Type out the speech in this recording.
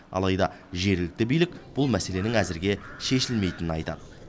алайда жергілікті билік бұл мәселенің әзірге шешілмейтінін айтады